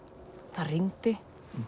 það rigndi